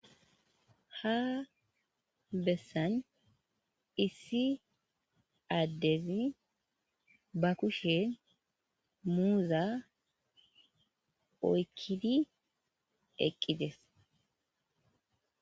ha bessan issi addezi ba kushe muuza oykkidi eqqides